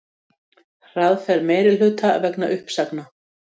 Hraðferð meirihluta vegna uppsagna